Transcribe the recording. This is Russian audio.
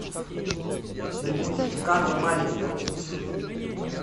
на ютуб карна маленька